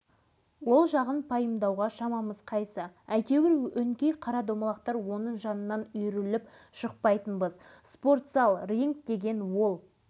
біз ол кезде жеткіншекпіз алашыбай аға жиырмадан асқан жас жігіт ауылымызға ол қайдан не үшін келгенін